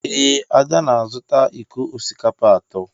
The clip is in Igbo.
Ee, Ada na-azụta iko osikapa atọ.